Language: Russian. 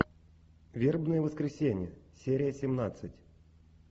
вербное воскресенье серия семнадцать